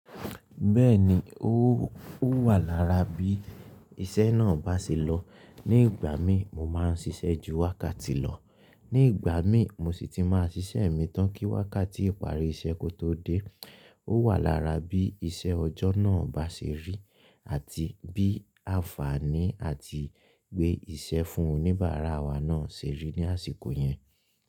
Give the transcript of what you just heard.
Bẹ́ẹ̀ni, ó wà lára bí iṣẹ́ náà bá ṣe lọ. Ní ìgbà mí mo máa ń ṣiṣẹ́ ju wákàtí lọ, ní ìgbà mí mo sì ti máa ṣiṣẹ́ mi tán kí wákàtí ìparí iṣẹ́ kó tó dé. Ó wà lára bí iṣẹ́ ọjọ́ náà bá ṣe rí àti bí àǹfààní àti gbé ìṣẹ́ fún oníbàárà wa náà ṣe rí ní àsìkò yẹn.